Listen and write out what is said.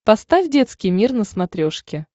поставь детский мир на смотрешке